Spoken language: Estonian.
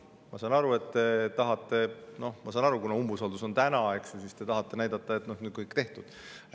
Ma saan aru, et kuna umbusaldus on täna, siis te tahate näidata, et kõik on nüüd tehtud.